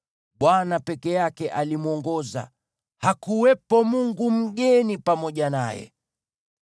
Bwana peke yake alimwongoza; hakuwepo mungu mgeni pamoja naye.